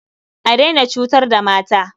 A daina cutar da mata.